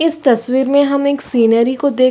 इस तस्वीर में हम एक शिनरी को देख --